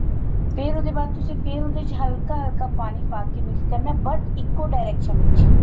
ਫੇਰ ਉਹਦੇ ਬਾਅਦ ਤੁਸੀਂ ਫੇਰ ਉਹਦੇ ਚ ਹਲਕਾ ਹਲਕਾ ਪਾਣੀ ਪਾ ਕੇ mix ਕਰਨਾ but ਇੱਕੋ direction ਵਿੱਚ